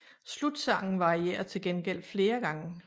Slutsangen varierer til gengæld flere gange